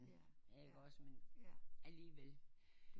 Ikke også men alligevel